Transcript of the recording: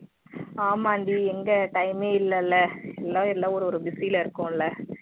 ஆமாண்டி எங்க time மே இல்லல எல்லா எல்லா ஒரு ஒரு busy ல இருக்கோம்ல